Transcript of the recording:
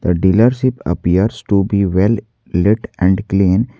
The dealership appears to be well let and clean.